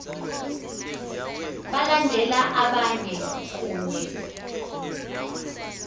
balandela abayeni kunye